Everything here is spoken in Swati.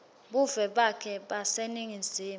buve bakhe baseningizimu